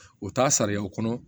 O t'a sariyaw kɔnɔ